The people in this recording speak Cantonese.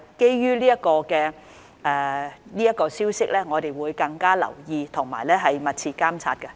不過，基於有關的消息，我們會加倍留意和密切監測。